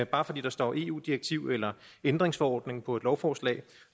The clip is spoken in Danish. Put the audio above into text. bare fordi der står eu direktiv eller ændringsforordning på et lovforslag